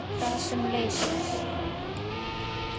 Gas sem leysir